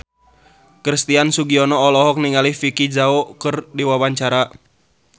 Christian Sugiono olohok ningali Vicki Zao keur diwawancara